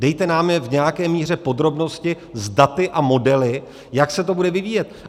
Dejte nám je v nějaké míře podrobnosti s daty a modely, jak se to bude vyvíjet.